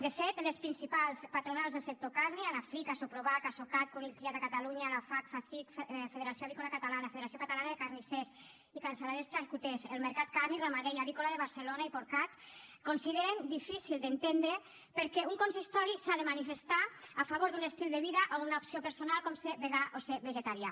de fet les principals patronals del sector carni anafric asoprovac asocat conill criat a catalunya la facc fecic federació avícola catalana federació catalana de carnissers cansaladers i xarcuters el mercat carni ramader i avícola de barcelona i porcat consideren difícil d’entendre per què un consistori s’ha de manifestar a favor d’un estil de vida o una opció personal com ser vegà o ser vegetarià